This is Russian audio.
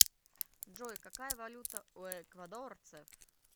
джой какая валюта у эквадорцев